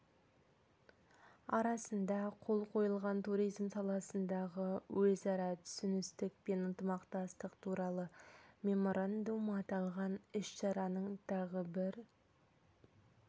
арасында қол қойылған туризм саласындағы өзара түсіністік пен ынтымақтастық туралы меморандум аталған іс-шараның тағы бір